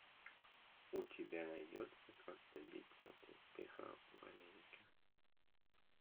у тебя найдется как добиться успеха в америке